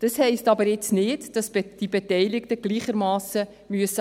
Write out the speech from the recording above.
Das heisst jetzt aber nicht, dass die Beteiligten gleichermassen handeln müssen.